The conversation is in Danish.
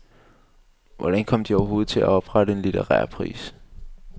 Hvordan kom de overhovedet på at oprette en litterær pris?